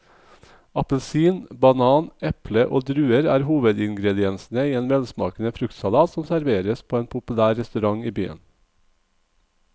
Appelsin, banan, eple og druer er hovedingredienser i en velsmakende fruktsalat som serveres på en populær restaurant i byen.